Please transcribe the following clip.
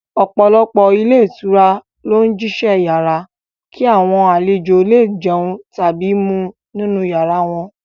Ọpọ̀lọpọ̀ ilé ìtura ló ń jísẹ́ iyàrá, kí àwọn àlejò lẹ è jẹun tàbí mu nínu yàrá wọn.